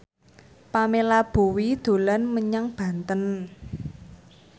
Pamela Bowie dolan menyang Banten